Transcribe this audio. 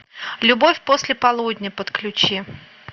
любовь после полудня подключи